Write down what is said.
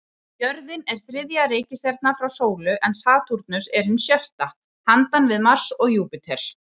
Jörðin er þriðja reikistjarnan frá sólu, en Satúrnus hin sjötta, handan við Mars og Júpíter.